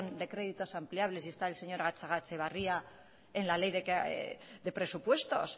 de créditos ampliables y esta el señor gatxagaetxebarria en la ley de presupuestos